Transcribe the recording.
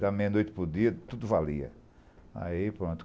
Da meia-noite para o dia, tudo valia.